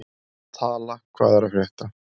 Tala, hvað er að frétta?